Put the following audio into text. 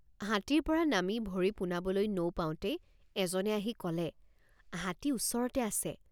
হাতীৰপৰা নামি ভৰি পোনাবলৈ নৌপাওঁতেই এজনে আহি কলে হাতী ওচৰতে আছে।